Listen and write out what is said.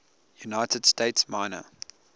united states minor